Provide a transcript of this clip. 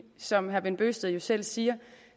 som herre bent bøgsted selv siger